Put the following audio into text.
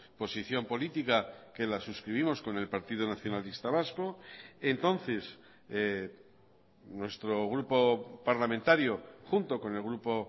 posición política que la suscribimos con el partido nacionalista vasco entonces nuestro grupo parlamentario junto con el grupo